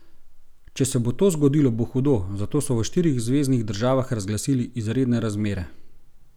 Če se bo to zgodilo, bo hudo, zato so v štirih zveznih državah razglasili izredne razmere.